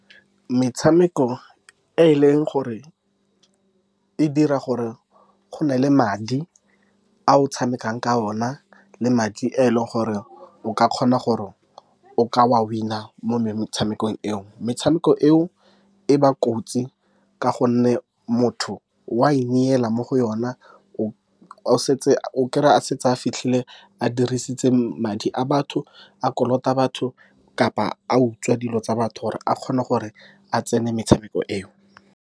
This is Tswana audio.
Metshameko e e leng gore e dira gore go nne le madi a o tshamekang ka ona, le madi a e leng gore o ka kgona gore o ka wa winner mo metshamekong eo. Metshameko eo e ba kotsi ka gonne motho wa ineela mo go yona, o setse a kry-a, a setse a fitlhile a dirisitse madi a batho, a kolota batho, kapa a utswa dilo tsa batho gore a kgone gore a tsenele metshameko eo.